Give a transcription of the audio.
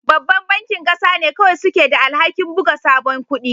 Babban bankin ƙasa ne kawai suke da alhakin buga sabon kudi